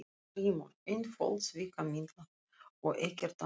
GRÍMUR: Einföld svikamylla og ekkert annað.